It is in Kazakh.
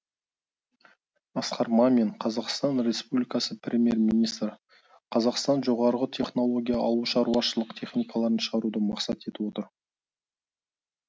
асқар мамин қазақстан республикасы премьер министрі қазақстан жоғарғы технология ауылшаруашылық техникаларын шығаруды мақсат етіп отыр